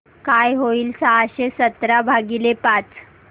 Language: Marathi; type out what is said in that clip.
काय होईल सहाशे सतरा भागीले पाच